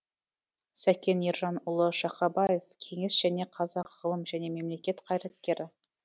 сәкен ержанұлы шақабаев кеңес және қазақ ғылым және мемлекет қайраткері